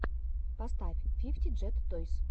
поставь фифти джет тойс